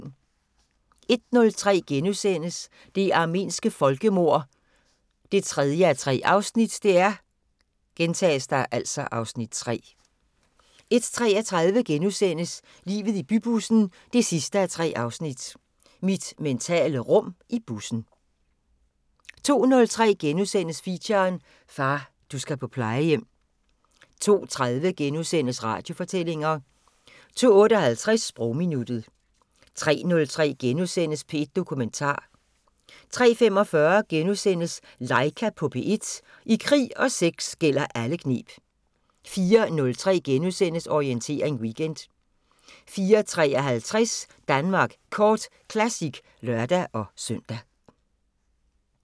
01:03: Det armenske folkemord 3:3 (Afs. 3)* 01:33: Livet i bybussen 3:3 – mit mentale rum i bussen * 02:03: Feature: Far, du skal på plejehjem * 02:30: Radiofortællinger * 02:58: Sprogminuttet 03:03: P1 Dokumentar * 03:45: Laika på P1 – I krig og sex gælder alle kneb * 04:03: Orientering Weekend * 04:53: Danmark Kort Classic (lør-søn)